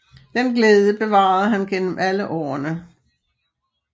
Den glæde bevarede han gennem alle årene